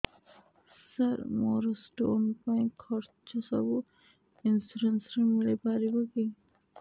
ସାର ମୋର ସ୍ଟୋନ ପାଇଁ ଖର୍ଚ୍ଚ ସବୁ ଇନ୍ସୁରେନ୍ସ ରେ ମିଳି ପାରିବ କି